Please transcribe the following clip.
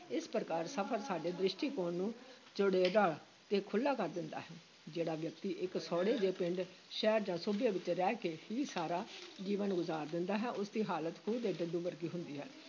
ਇਸ ਪ੍ਰਕਾਰ ਸਫ਼ਰ ਸਾਡੇ ਦ੍ਰਿਸ਼ਟੀਕੋਣ ਨੂੰ ਚੌੜੇਰਾ ਤੇ ਖੁੱਲ੍ਹਾ ਕਰ ਦਿੰਦਾ ਹੈ, ਜਿਹੜਾ ਵਿਅਕਤੀ ਇਕ ਸੌੜੇ ਜਿਹੇ ਪਿੰਡ, ਸ਼ਹਿਰ ਜਾਂ ਸੂਬੇ ਵਿਚ ਰਹਿ ਕੇ ਹੀ ਸਾਰਾ ਜੀਵਨ ਗੁਜ਼ਾਰ ਦਿੰਦਾ ਹੈ, ਉਸ ਦੀ ਹਾਲਤ ਖੂਹ ਦੇ ਡੱਡੂ ਵਰਗੀ ਹੁੰਦੀ ਹੈ।